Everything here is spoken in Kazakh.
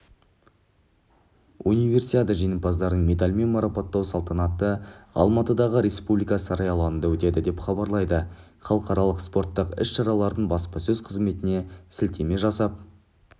универсиада жеңімпаздарын медальмен марапаттау салтанаты алматыдағы республика сарайы алаңында өтеді деп хабарлайды халықаралық спорттық іс-шаралардың баспасөз қызметіне сілтеме жасап